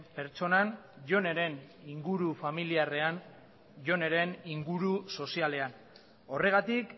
pertsonan joneren inguru familiarrean joneren inguru sozialean horregatik